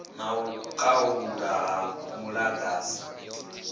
na u khaulwa ha muḓagasi